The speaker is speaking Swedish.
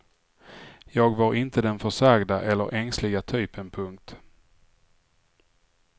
Jag var inte den försagda eller ängsliga typen. punkt